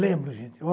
Lembro, gente.